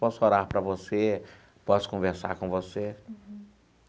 Posso orar para você, posso conversar com você.